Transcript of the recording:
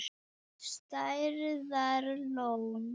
Stærðar lón.